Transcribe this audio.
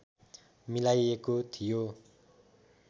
मिलाइएको थियो